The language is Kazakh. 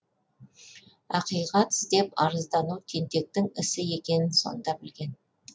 ақиқат іздеп арыздану тентектің ісі екенін сонда білген